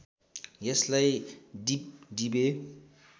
यसलाई डिबडिबे